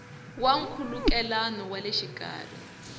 ya nkhulukelano wa le xikarhi